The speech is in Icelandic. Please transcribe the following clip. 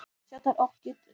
Smjattar og kyngir.